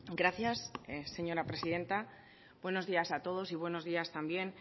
gracias señora presidenta buenos días a todos y buenos días también